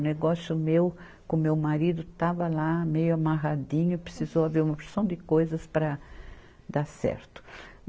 O negócio meu com o meu marido estava lá meio amarradinho, precisou haver uma porção de coisas para dar certo.